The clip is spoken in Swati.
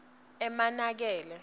emankele